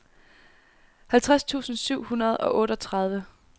halvtreds tusind syv hundrede og otteogtredive